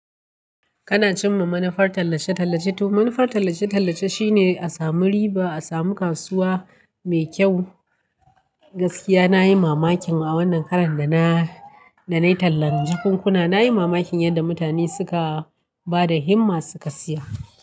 Kana cimma manufar tallace tallace. To manufar tallace tallace shine a samu riba, a samu kasuwa mai kyau. Gaskiya nayi mamakin a wannan karan da na, da nayi tallan jakunkuna. Nayi mamakin yadda mutane suka bada himma suka siya.